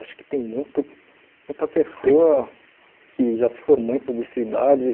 Acho que tem muito muita pessoa que já se formou em publicidade.